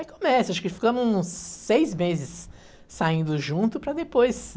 Aí começa, acho que ficamos uns seis meses saindo juntos para depois.